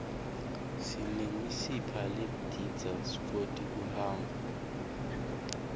sinemisipha ledidta skwoti kuhamba